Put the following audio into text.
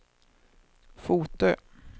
Fotö